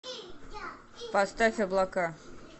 поставь облака